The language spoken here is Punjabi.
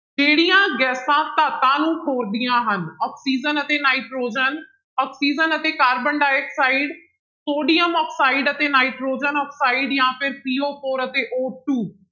ਕਿਹੜੀਆਂ ਗੈਸਾਂ ਧਾਤਾਂ ਨੂੰ ਖੋਰਦੀਆਂ ਹਨ ਆਕਸੀਜਨ ਅਤੇ ਨਾਇਟ੍ਰੋਜਨ, ਆਕਸੀਜਨ ਅਤੇ ਕਾਰਬਨ ਡਾਇਆਕਸਾਇਡ, ਸੋਡੀਅਮ ਆਕਸਾਇਡ ਅਤੇ ਨਾਇਟ੍ਰੋਜਨ ਆਕਸਾਇਡ ਜਾਂ ਫਿਰ CO four ਅਤੇ O two